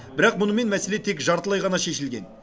бірақ мұнымен мәселе тек жартылай ғана шешілген